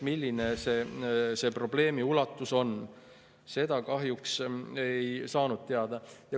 Milline see probleemi ulatus on, seda kahjuks ei saanud teada.